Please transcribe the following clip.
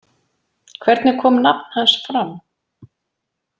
Hvernig kom nafn hans fram?